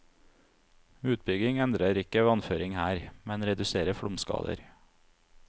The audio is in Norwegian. Utbygging endrer ikke vannføring her, men reduserer flomskader.